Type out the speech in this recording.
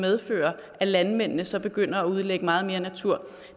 medføre at landmændene så begynder at udlægge meget mere natur